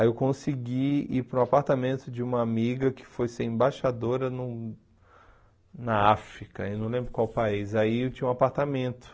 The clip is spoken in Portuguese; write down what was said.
Aí eu consegui ir para o apartamento de uma amiga que foi ser embaixadora no na África, eu não lembro qual país, aí eu tinha um apartamento.